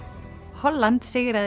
Holland sigraði